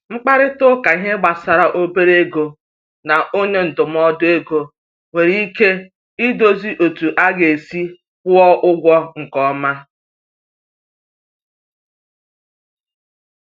Nkparịta ụka ihe gbasara obere ego na onye ndụmọdụ ego nwere ike dozie otú a ga-esi kwụọ ụgwọ nke ọma.